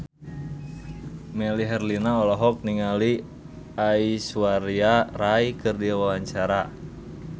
Melly Herlina olohok ningali Aishwarya Rai keur diwawancara